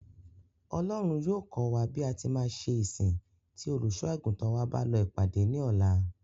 Ọlọ́run yóò kọ́ wa bí a ṣe máa ṣe ìsìn tí Olùṣọ́-àgùntàn wa bá lọ ìpàdé ní ọ̀la.